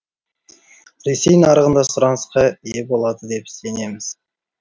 ресей нарығында сұранысқа ие болады деп сенеміз